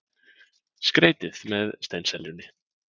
Skreytið með steinseljunni.